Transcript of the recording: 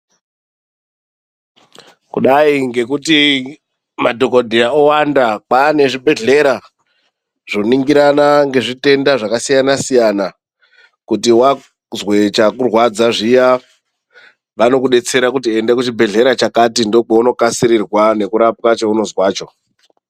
Kudai ngekuti madhokodheya owanda kwane zvibhedhleya zvoningirana ngezvitenda zvakasiyana siyana kuti wazwe chakurwadza zviya vanokudetsera kuti enda kuchibhedhleya chakati ndokwaunokasirirwa nekurapwa cheunozwecho.